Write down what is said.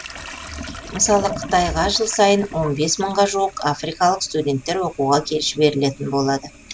мысалы қытайға жыл сайын он бес мыңға жуық африкалық студенттер оқуға жіберілетін болады